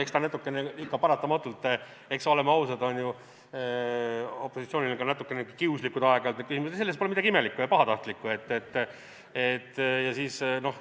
Eks ikka paratamatult, oleme ausad, on ju opositsioonil ka natukene kiuslikud aeg-ajalt need küsimused, selles pole midagi imelikku ega pahatahtlikku.